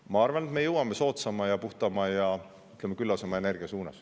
Ma arvan, et me jõuame soodsama, puhtama ja küllasema energiani.